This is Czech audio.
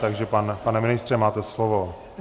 Takže pane ministře, máte slovo.